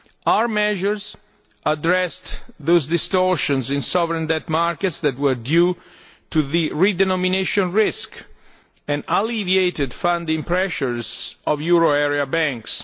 Our measures addressed those distortions in sovereign debt markets that were due to the redenomination risk and alleviated funding pressures on euro area banks.